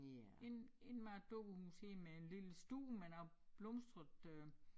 Ind indmad af et dukkehus her med en lille stue med noget blomstret øh